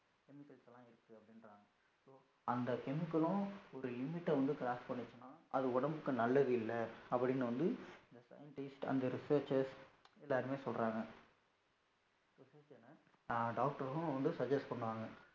அந்த chemical லும் ஒரு limit வந்து cross பண்ணுசினா அது உடம்புக்கு அது நல்லது இல்ல அப்படினு வந்து அந்த scientist அந்த researchers எல்லாருமே சொல்லுறாங்க doctor ரும் suggest பண்ணுறாங்க